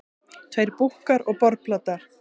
Tveir búkkar og borðplata.